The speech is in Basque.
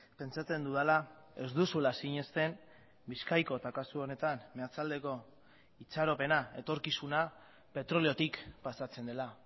pentsatzen dudala ez duzula sinesten bizkaiko eta kasu honetan meatzaldeko itxaropena etorkizuna petroleotik pasatzen dela